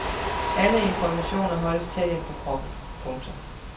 Alle informationer holdes tæt ind på kroppen. punktum